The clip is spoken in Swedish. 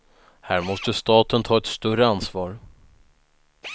Här måste staten ta ett större ansvar.